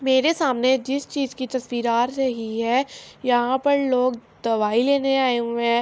میرے سامنے جس چیز کی تشویر آ رہی ہے۔ یہاں پر لوگ دوائی لینے اے ہوئے ہے۔